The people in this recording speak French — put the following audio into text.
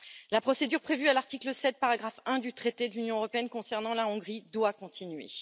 La procédure prévue à l'article 7, paragraphe 1, du traité de l'Union européenne concernant la Hongrie doit continuer.